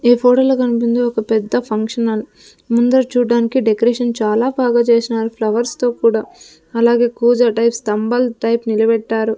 ఈ ఫోటో కన్పించే ఒక పెద్ద ఫంక్షన్ హాల్ ముందర చూడ్డానికి డెకరేషన్ చాలా బాగా చేస్నారు ఫ్లవర్స్ తో కూడా అలాగే కూజా టైప్ స్థంబాల్ టైప్ నిలబెట్టారు.